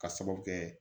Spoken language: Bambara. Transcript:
Ka sababu kɛ